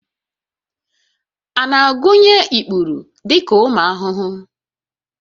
A na-agụnye ikpuru dị ka ụmụ ahụhụ?